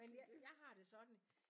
Men jeg jeg har det sådan